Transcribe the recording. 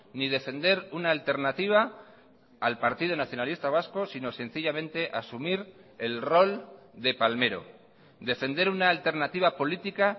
ni defender una alternativa al partido nacionalista vasco sino sencillamente asumir el rol de palmero defender una alternativa política